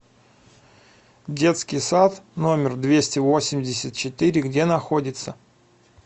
детский сад номер двести восемьдесят четыре где находится